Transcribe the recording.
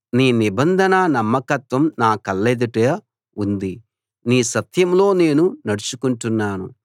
నీ నిబంధన నమ్మకత్వం నా కళ్ళెదుట ఉంది నీ సత్యంలో నేను నడుచుకుంటున్నాను